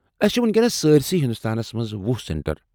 اسہِ چھ ؤنکیٚنس سارسٕے ہندوستانس منٛز وُہ سینٹر